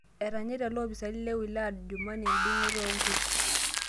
Etanyaita loopisani le wilaya e Adjumani edung'oto oo nkuuk